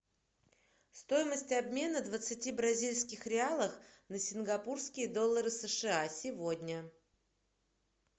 стоимость обмена двадцати бразильских реалов на сингапурские доллары сша сегодня